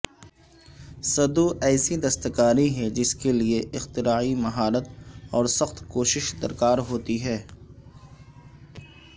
سدو ایسی دستکاری ہے جس کے لئے اختراعی مہارت اور سخت کوشش درکار ہوتی ہے